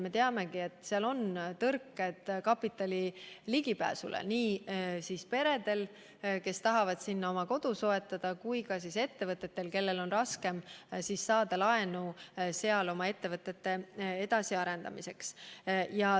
Me teame, et seal on tõrkeid kapitalile ligipääsemisel nii peredel, kes tahavad sinna oma kodu soetada, kui ka ettevõtetel, kellel on raskem saada laenu seal oma ettevõtte edasiarendamiseks.